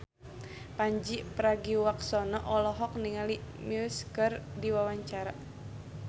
Pandji Pragiwaksono olohok ningali Muse keur diwawancara